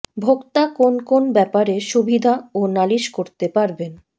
ভোক্তা কোন কোন ব্যাপারে সুবিধা ও নালিশ করতে পারবেন